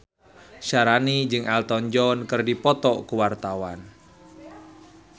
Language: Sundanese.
Syaharani jeung Elton John keur dipoto ku wartawan